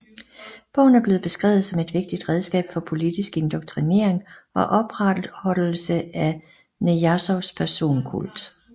Bogen er blevet beskrevet som et vigtigt redskab for politisk indoktrinering og opretholdelse af Nijazovs personkult